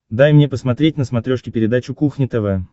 дай мне посмотреть на смотрешке передачу кухня тв